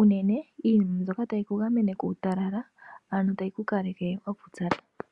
Unene iinima mbyoka tayi ku gamene kuutalala ano tayi ku kaleke wa pupyala.